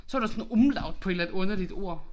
Så var der sådan noget umlaut på et eller andet underligt ord